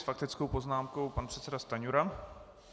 S faktickou poznámkou pan předseda Stanjura.